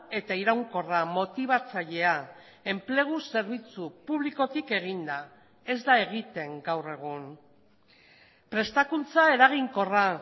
eta iraunkorra motibatzailea enplegu zerbitzu publikotik eginda ez da egiten gaur egun prestakuntza eraginkorra